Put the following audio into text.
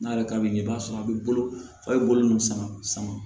N'a yɛrɛ ka d'i ye i b'a sɔrɔ a bɛ bolo a bɛ bolo ninnu sama sama